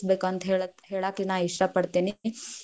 ಅಂತ ಹೇಳಾ~ ಹೇಳಾಕ್ ಇಷ್ಟಾ ಪಡತೀನಿ.